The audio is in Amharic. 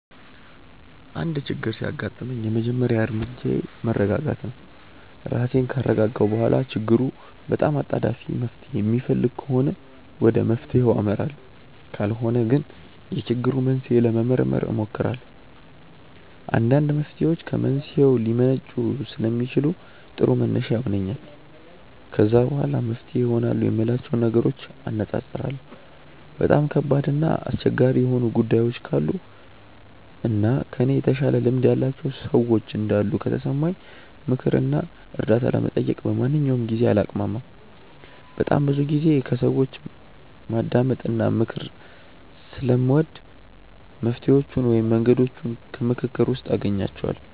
አንድ ችግር ሲያጋጥመኝ የመጀመሪያ እርምጃዬ መረጋጋት ነው። ራሴን ካረጋጋሁ በኋላ ችግሩ በጣም አጣዳፊ መፍትሔ የሚፈልግ ከሆነ ወደ መፍትሔው አመራለሁ ካልሆነ ግን የችግሩን መንስኤ ለመመርመር እሞክራለሁ። አንዳንድ መፍትሔዎች ከመንስኤው ሊመነጩ ስለሚችሉ ጥሩ መነሻ ይሆነኛል። ከዛ በኋላ መፍትሄ ይሆናሉ የምላቸውን ነገሮች አነፃፅራለሁ። በጣም ከባድ እና አስቸጋሪ የሆኑ ጉዳዮች ካሉ እና ከእኔ የተሻለ ልምድ ያላቸው ሰዎች እንዳሉ ከተሰማኝ ምክር እና እርዳታ ለመጠየቅ በማንኛውም ጊዜ አላቅማማም። በጣም ብዙ ጊዜ ከሰዎች ማዳመጥ እና ምክር ስለምወድ መፍትሔዎቹን ወይም መንገዶቹን ከምክክር ውስጥ አገኛቸዋለሁ።